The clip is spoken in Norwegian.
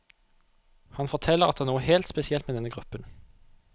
Han forteller at det er noe helt spesielt med denne gruppen.